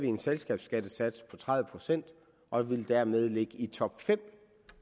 en selskabsskattesats på tredive procent og ville dermed ligge i top fem